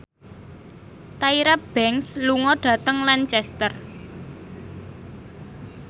Tyra Banks lunga dhateng Lancaster